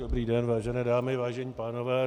Dobrý den, vážené dámy, vážení pánové.